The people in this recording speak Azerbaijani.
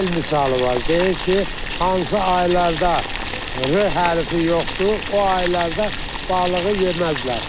Bizdə el misalı var, deyir ki, hansı aylarda r hərfi yoxdur, o aylarda balığı yeməzlər.